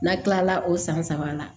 N'a kilala o san saba la